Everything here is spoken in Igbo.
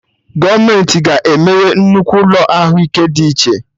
Gọọmenti ga emeye nnukwu ụlọ Ahụ ike dị iche